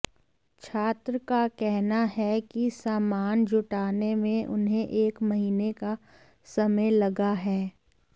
छात्र का कहना है कि सामान जुटाने में उन्हें एक महीने का समय लगा है